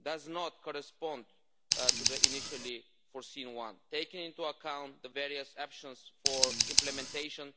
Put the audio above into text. does not correspond to the one initially foreseen, taking into account the various options for implementation.